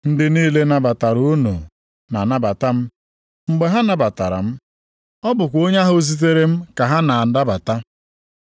“Ndị niile nabatara unu na-anabata m. Mgbe ha nabatara m, ọ bụkwa Onye ahụ zitere m ka ha na-anabata.